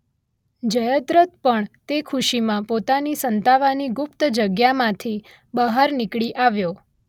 જયદ્રથ પણ તે ખુશીમાં પોતાની સંતાવાની ગુપ્ત જગ્યામાંથી બહાર નીકળી આવ્યો